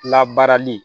Labaarali